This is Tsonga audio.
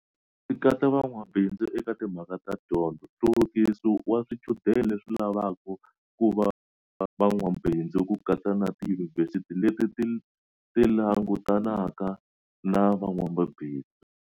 Leswi swi katsa van'wamabindzu eka timhaka ta dyondzo, nhluvukiso wa swichudeni leswi lavaka ku va van'wamabindzu ku katsa na tiyunivhesiti leti ti langutanaka na van'wamabindzu.